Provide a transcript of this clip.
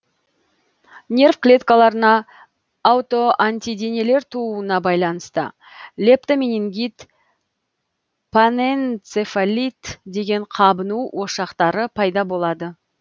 нерв клеткаларына аутоантиденелер тууына байланысты лептоменингит панэнцефалит деген қабыну ошақтары пайда болады